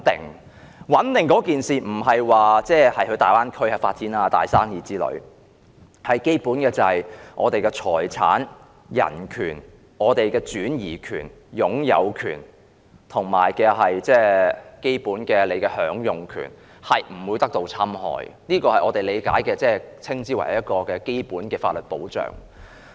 所謂穩定，不是指能夠在大灣區發展大生意，而是指基本的財產、人權、擁有權、轉移權，以及基本享用權不會遭受侵害，這是我們理解的所謂基本法律保障。